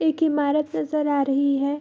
एक इमारत नजर आ रही है।